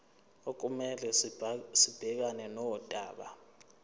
okumele sibhekane nodaba